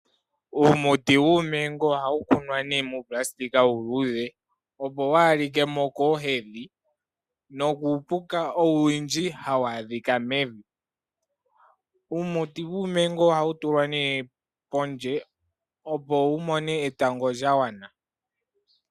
Uumuti wuuMango ohawu kunwa nee muunayilona uuluudhe opo waa ha likemo koohwa nokuupuka owundji hawu adhika mevi. Uumuti wuuMango ohawu tulwa nee pondje opo wu mone etango lya gwana.